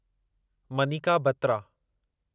Manika Batra